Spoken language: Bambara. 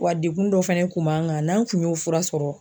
Wa dekun dɔ fɛnɛ kun b'an kan n'an kun y'o fura sɔrɔ